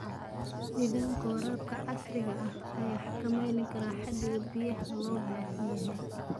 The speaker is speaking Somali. Nidaamka waraabka casriga ah ayaa xakameyn kara xaddiga biyaha loo baahan yahay.